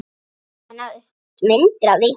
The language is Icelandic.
Það náðust myndir af því